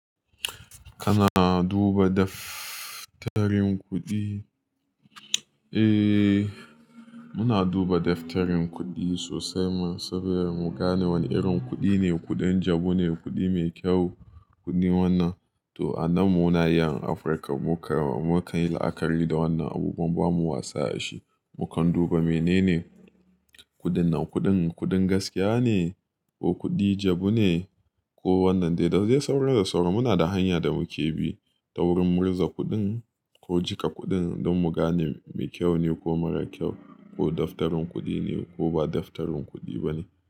Kana duba daftarin kuɗi? Eh, muna duba daftarin kuɗi sosai saboda mu gane wane irin kuɗi ne, kuɗin jabu ne, kuɗi mai kyau, kuɗin wannan. To, a nan muna yi an Afirka muka yi la'akari da wannan abubuwan, bamu wasa a shi. Mukan duba menene kuɗin nan, kuɗin gaskiya ne ko kuɗi jabu ne ko wannan dai. Da sai saura da sauransu Muna da hanya da muke bi ta wurin murza kuɗin ko jiƙa kuɗin don mu gane me kyau ne ko mara kyau ko daftarin kuɗi ne ko ba daftarin kuɗi ba ne.